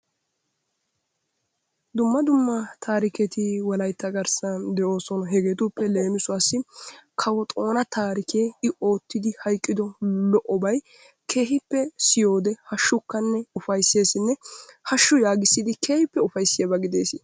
Dumma dumma taariketi wolaytta garssan de'oosona, hegeetuppe leemisuwaassi kawo Xoona taarikee I oottidi hayqqido lo'obay keehippe siyode hashshukkonne ufaysseessinne hashshu yaagissidi keehippe ufayssiyaba gidees.